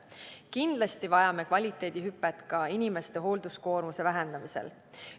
Kindlasti vajame kvaliteedihüpet ka inimeste hoolduskoormuse vähendamisel.